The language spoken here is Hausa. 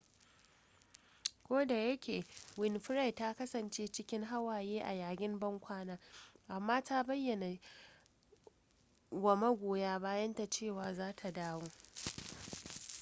kodayake winfrey ta kasance cikin hawaye a yayin ban kwana amma ta bayyana wa magoya bayanta cewa za ta dawo